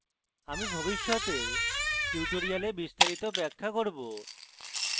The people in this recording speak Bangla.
আমি ভবিষ্যতের tutorials বিস্তারিত ব্যাখ্যা করব